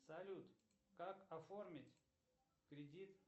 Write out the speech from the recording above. салют как оформить кредит